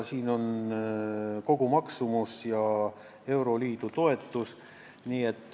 Siin on kogumaksumus ja euroliidu toetus.